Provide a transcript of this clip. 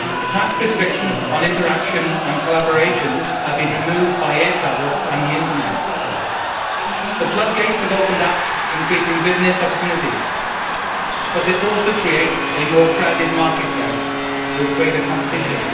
Past restrictions on interaction and collaboration have been removed by air travel and the Internet. The floodgates have opened up increasing business opportunities, but this also creates a more crowded market place with greater competition.